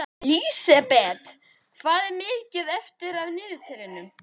Lísebet, hvað er mikið eftir af niðurteljaranum?